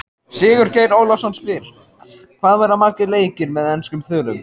Sigurgeir Ólafsson spyr: Hvað verða margir leikir með enskum þulum?